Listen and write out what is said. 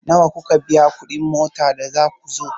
Nawa kuka biya kuɗin mota da za ku zo?